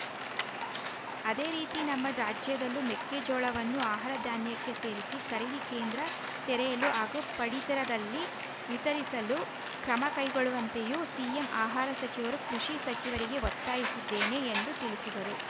ಅದೇ ರೀತಿ ನಮ್ಮ ರಾಜ್ಯದಲ್ಲೂ ಮೆಕ್ಕೆಜೋಳವನ್ನು ಆಹಾರ ಧಾನ್ಯಕ್ಕೆ ಸೇರಿಸಿ ಖರೀದಿ ಕೇಂದ್ರ ತೆರೆಯಲು ಹಾಗೂ ಪಡಿತರದಲ್ಲಿ ವಿತರಿಸಲು ಕ್ರಮ ಕೈಗೊಳ್ಳುವಂತೆಯೂ ಸಿಎಂ ಆಹಾರ ಸಚಿವರು ಕೃಷಿ ಸಚಿವರಿಗೆ ಒತ್ತಾಯಿಸಿದ್ದೇನೆ ಎಂದು ತಿಳಿಸಿದರು